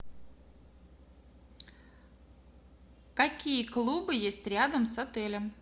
какие клубы есть рядом с отелем